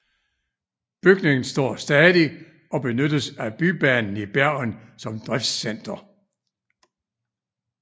Bygningen står stadig og benyttes af Bybanen i Bergen som driftscenter